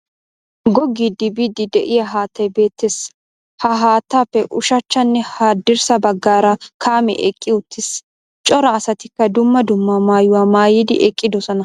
Googgidi biidi de'iya haattay beettees, ha haattaappe ushshachchanne haddrssa baggaara kaamee eqqi uttiis. Cora asatikka dumma dumma maayuwa maayidi eqqidossona.